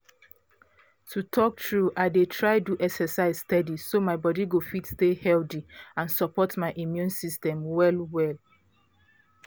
to talk true i dey try do exercise steady so my body go fit stay healthy and support my immune system well well